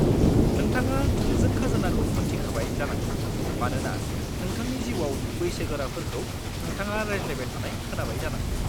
नोंथाङा थोंजों खाजोनाखौ मोन्थिखाबाय जानांगौ मानोना नोंथांनि जिउआव बैसोगोराफोरखौ नोंथाङा रायज्लायबाय थानाय खोनाबाय जानांगौ।